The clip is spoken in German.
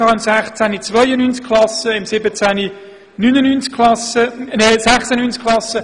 Im Jahr 2016 waren es 92 Klassen und im Jahr 2017 96.